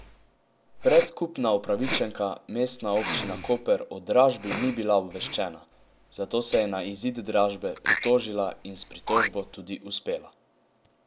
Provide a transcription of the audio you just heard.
Predkupna upravičenka Mestna občina Koper o dražbi ni bila obveščena, zato se je na izid dražbe pritožila in s pritožbo tudi uspela.